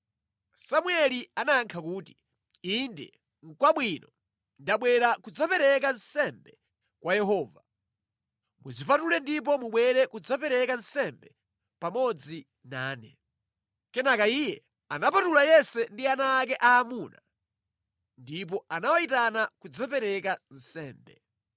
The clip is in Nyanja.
Samueli anayankha kuti, “Inde, kwabwino. Ndabwera kudzapereka nsembe kwa Yehova. Mudzipatule ndipo mubwere kudzapereka nsembe pamodzi nane.” Kenaka iye anamupatula Yese ndi ana ake aamuna ndipo anawayitana kudzapereka nsembe.